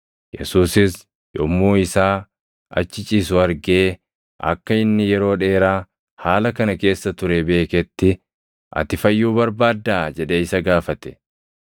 Yesuusis yommuu isaa achi ciisu argee akka inni yeroo dheeraa haala kana keessa ture beeketti, “Ati fayyuu barbaaddaa?” jedhee isa gaafate.